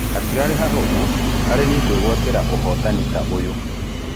Hatiarĩ hahũthũ harĩ niĩ kũĩgũatĩra ũhotani ta ũyũ.